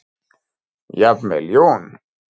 Jafnvel Jón